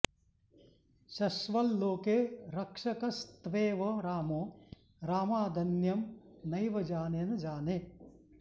शश्वल्लोके रक्षकस्त्वेव रामो रामादन्यं नैव जाने न जाने